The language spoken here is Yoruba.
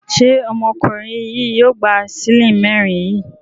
Ṣé ọmọkùnrin yìí yóò gba ṣílè mẹ́rin yìí?